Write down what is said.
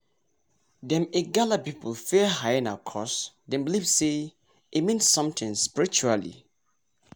dem igala people fear hyena cuz dem believe say e mean something spiritually